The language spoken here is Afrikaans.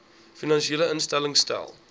finansiële instellings stel